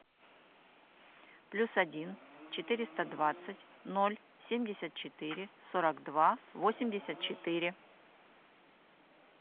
плюс один четыреста двадцать ноль семьдесят четыре сорок два восемьдесят четыре